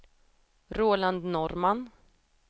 Roland Norrman